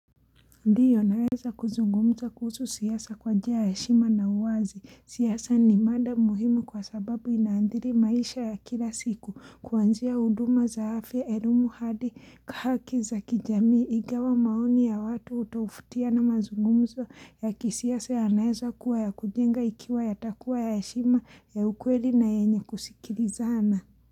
Ndiyo naeza kuzungumza kuhusu siasa kwa njia ya heshima na uwazi, siasa ni mada muhimu kwa sababu inaandhiri maisha ya kila siku, kuanzia uduma zaafya, elimu hadi, haki za kijami, ingawa maoni ya watu utofautiana mazungumzo ya kisiasa ya naeza kuwa ya kujenga ikiwa yatakua ya heshima ya ukweli na yenye kusikilizana.